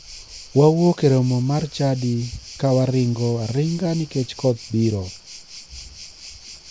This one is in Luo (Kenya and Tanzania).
Wawuok e romo mar chadi ka waringo aringa nikech koth biro.